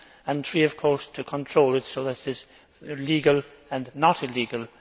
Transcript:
and thirdly, of course, to control it so that it is legal and not illegal.